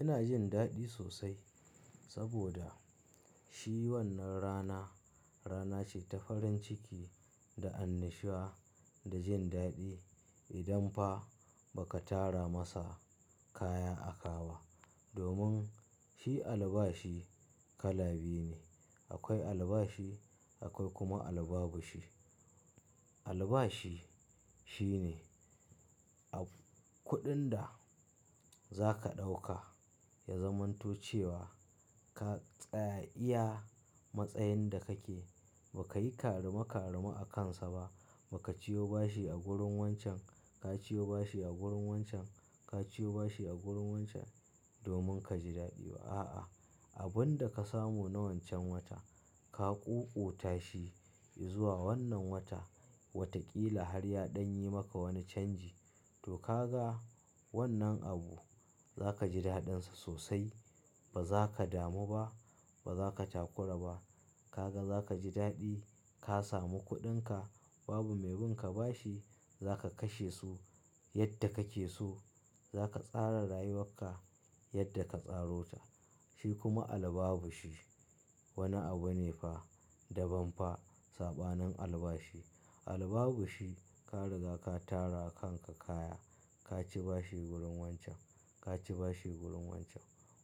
Ina jin daɗi sosai saboda shi wannan rana, rana ce ta farin ciki da annashuwa da jin daɗi. Idan fa ba ka tara masa kaya a ka ba. Domin shi albashi kala biyu ne, akwai albashi akwai kuma albabushi. Albashi shine a kuɗin da zaka ɗauka ya zamanto cewa ka tsaya iya matsayin da kake ba ka yi karame karame a kansa ba, ba ka ciyo bashi a gurin wancan, ka ciyo bashi a gurin wancan, ka ciyo bashi a gurin wancan domin ka ji daɗi ba. A'a, abun da ka samu na wancan wata ka ƙuƙuta shi, zuwa wannan wata, wataƙila har ya ɗan yi maka wani canji. To ka ga wannan abu za ka ji daɗinsa sosai. Ba za ka damu ba, ba za ka takura ba. Ka ga za ka ji daɗi, ka samu kuɗinka, babu mai bin ka bashi, za ka kashe su yadda kake so. Za ka tsara rayuwarka yadda ka tsarota. Shi kuma albabushi wani abu ne fa daban fa saɓanin albashi. Albabushi ka riga ka tara kanka kaya, ka ci bashi gurin wancan, ka ci bashi gurin wancan.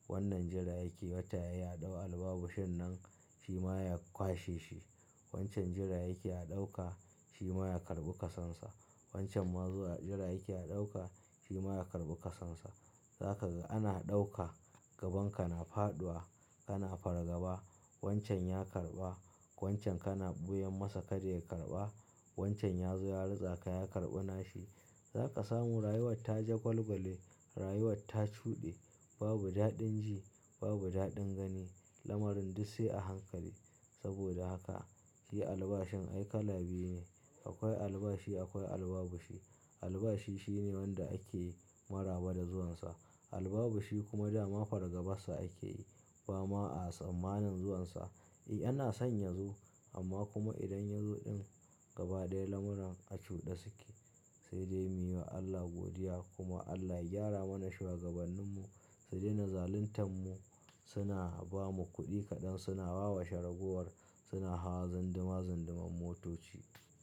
Wannan jira yake wata yayi, a ɗau albabushin nan shi ma ya kwashe shi. Wancan jira yake a ɗauka shi ma ya karɓi kasansa. Wancan ma zuwa jira yake a ɗauka shi ma ya karɓi kasonsa. Za ka ga ana ɗauka gaban ka na faɗuwa, kana fargaba wancan ya karɓa, wancan kana ɓuyan masa kadai ya karɓa, wancan ya zo ya ritsa ka ya karɓi nashi. Za ka samu rayuwar ta jagwalgwale, rayuwar ta cuɗe, babu daɗin ji, babu daɗin gani, lamarin duk sai a hankali. Saboda haka shi albashin ai kala biyu ne. Akwai albashi akwai albabushi. Albashi shine wanda ake maraba da zuwansa. Albabushi kuma dama fargabansa ake yi. Bama a tsammanin zuwansa. Eh ana son ya zo amma kuma idan yazo ɗin gaba ɗaya lamuran a cuɗe suke. Sai dai muyi wa Allah godiya kuma Allah ya gyara mana shugabanninmu, su daina zaluntan mu. Suna bamu kuɗi kaɗan, suna wawashe ragowar, suna hawa zundima zundiman motoci.